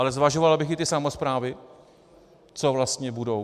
Ale zvažoval bych i ty samosprávy, co vlastně budou...